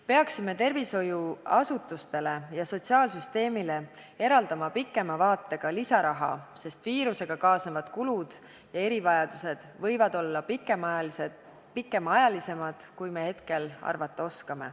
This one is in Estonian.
Peaksime tervishoiuasutustele ja sotsiaalsüsteemile eraldama tulevikku vaatavalt lisaraha, sest viirusega kaasnevad kulud ja erivajadused võivad olla pikemaajalisemad, kui me hetkel arvata oskame.